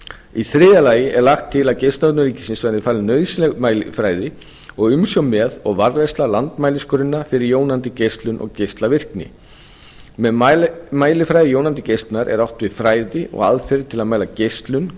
í þriðja lagi að geislavörnum ríkisins verði falin nauðsynleg mælifræði og umsjón með og varðveisla landsmæligrunna fyrir jónandi geislun og geislavirkni með mælifræði jónandi geislunar er átt við fræði og aðferðir til að mæla geislun